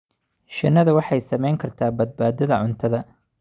Shinnidu waxay saamayn kartaa badbaadada cuntada.